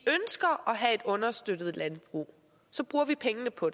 have et understøttet landbrug bruger vi pengene på